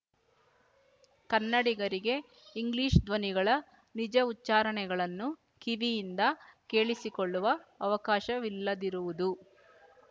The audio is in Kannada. ಕನ್ನಡಿಗರಿಗೆ ಇಂಗ್ಲಿಶ್ ಧ್ವನಿಗಳ ನಿಜ ಉಚ್ಚಾರಣೆಗಳನ್ನು ಕಿವಿಯಿಂದ ಕೇಳಸಿಕೊಳ್ಳುವ ಅವಕಾಶವಿಲ್ಲದಿರುವುದು